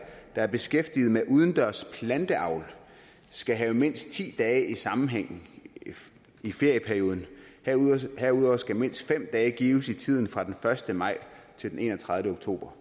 der er beskæftiget med udendørs planteavl skal have mindst ti dage i sammenhæng i ferieperioden herudover skal mindst fem dage gives i tiden fra den første maj til den enogtredivete oktober